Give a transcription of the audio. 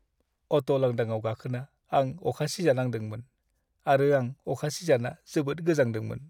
Auto लांदांआव गाखोना आं अखा सिजानांदोंमोन आरो आं अखा सिजाना जोबोद गोजांदोंमोन।